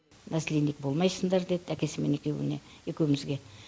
наследник болмайсындар деді әкесімен екеуіне екеуімізге